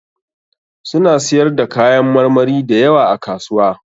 Suna siyar da kayan marmari da yawa a kasuwa.